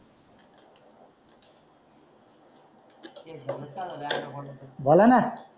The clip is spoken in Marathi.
झाल ना